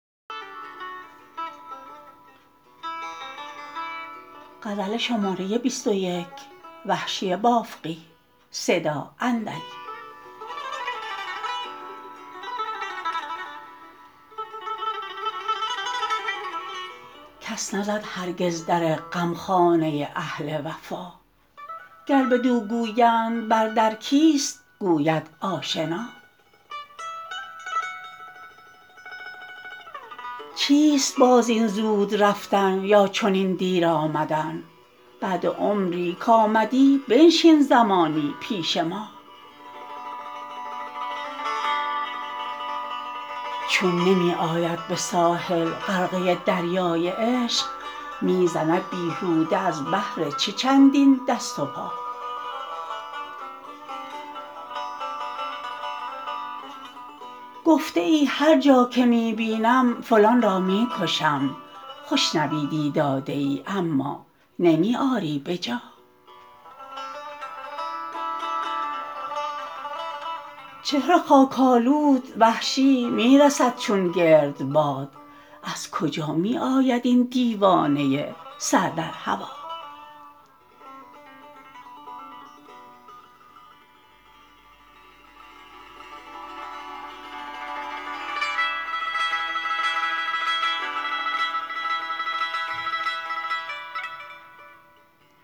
کس نزد هرگز در غمخانه اهل وفا گر بدو گویند بر در کیست گوید آشنا چیست باز این زود رفتن یا چنین دیر آمدن بعد عمری کامدی بنشین زمانی پیش ما چون نمی آید به ساحل غرقه دریای عشق می زند بیهوده از بهر چه چندین دست و پا گفته ای هر جا که می بینم فلان را می کشم خوش نویدی داده ای اما نمی آری بجا چهره خاک آلود وحشی می رسد چون گرد باد از کجا می آید این دیوانه سر در هوا